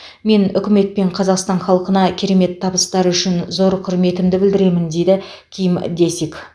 мен үкімет пен қазақстан халқына керемет табыстары үшін зор құрметімді білдіремін дейді ким дэсик